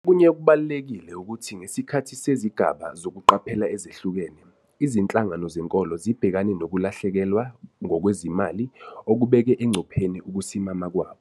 Okunye okubalulekile ukuthi ngesikhathi sezigaba zokuqaphela ezehlukene, izinhlangano zenkolo zibhekane nokulahlekelwa ngokwezimali okubeke engcupheni ukusimama kwabo.